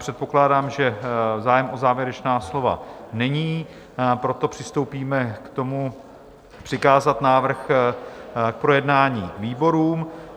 Předpokládám, že zájem o závěrečná slova není, proto přistoupíme k tomu, přikázat návrh k projednání výborům.